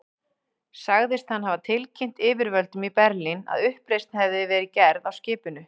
Sagðist hann hafa tilkynnt yfirvöldum í Berlín, að uppreisn hefði verið gerð á skipinu.